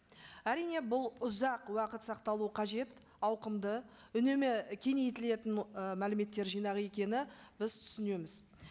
әрине бұл ұзақ уақыт сақталуы қажет ауқымды үнемі кеңейтілетін ы мәліметтер жинағы екенін біз түсінеміз